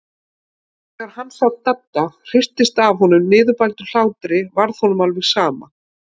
En þegar hann sá að Dadda hristist af niðurbældum hlátri varð honum alveg sama.